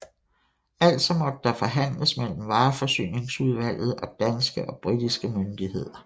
Altså måtte der forhandles mellem vareforsyningsudvalget og danske og britiske myndigheder